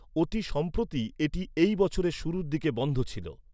অতি সম্প্রতি এটি এই বছরের শুরুর দিকে বন্ধ ছিল।